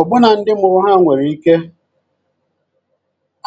Ọ́bùnà ndị mụrụ ha nwere ike